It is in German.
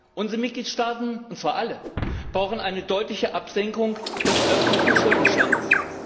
Unsere Mitgliedstaaten und zwar alle brauchen eine deutliche Absenkung des öffentlichen Schuldenstandes.